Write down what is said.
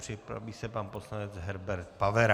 Připraví se pan poslanec Herbert Pavera.